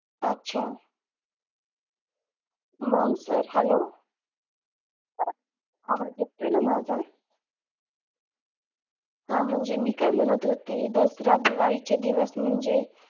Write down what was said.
अच्छा मग sir hello आवाज येतोय ना माझा हा म्हणजे मी काय म्हणत होते दसरा दिवाळीचे दिवस म्हणजे,